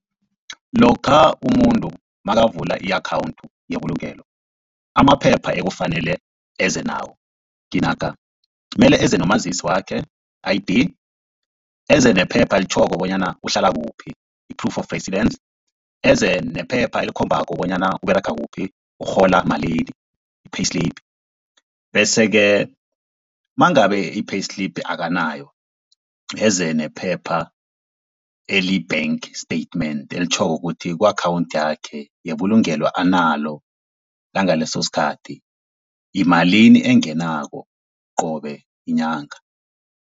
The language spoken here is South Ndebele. Lokha umuntu nakavula i-akhawunthu yebulungelo amaphepha ekufanele eze nawo nginaka, mele eze nomazisi wakhe I_D, eze nephepha elitjhoko bonyana uhlala kuphi i-proof of residence, eze nephepha elikhombako bonyana Uberega kuphi urhola malini i-payslip. Bese-ke mangabe i-payslip akanayo, eze nephepha eliyi-bank statement elitjhoko ukuthi ku-akhawunthi yakhe yebulungelo analo langaleso sikhathi, yimalini engenako qobe yinyanga.